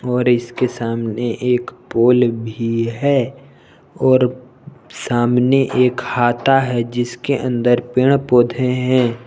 और इसके सामने एक पोल भी है और सामने एक हाता है जिसके अंदर पेड़ पौधे हैं।